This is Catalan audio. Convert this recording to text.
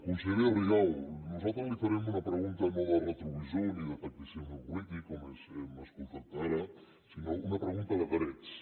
consellera rigau nosaltres li farem una pregunta no de retrovisor ni de tacticisme polític com hem escoltat ara sinó una pregunta de drets